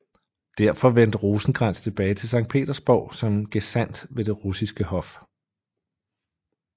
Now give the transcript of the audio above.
Derefter vendte Rosenkrantz tilbage til Sankt Petersborg som gesandt ved det russiske hof